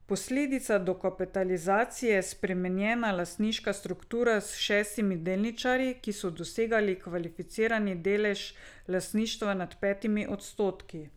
Posledica dokapitalizacije je spremenjena lastniška struktura s šestimi delničarji, ki so dosegli kvalificirani delež lastništva nad petimi odstotki.